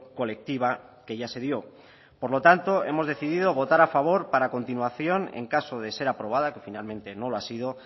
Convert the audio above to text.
colectiva que ya se dio por lo tanto hemos decidido votar a favor para a continuación en caso de ser aprobada que finalmente no lo ha sido